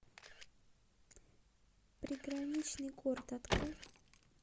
приграничный город открой